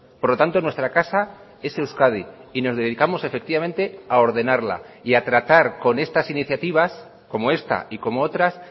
por lo tanto nuestra casa es euskadi y nos dedicamos efectivamente a ordenarla y a tratar con estas iniciativas como esta y como otras